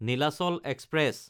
Nilachal express